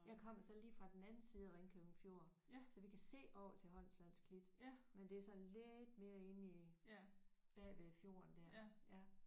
Jeg kommer så lige fra den anden side af Ringkøbing Fjord så vi kan se over til Holmslands Klit men det er sådan lidt mere inde i bagved fjorden der ja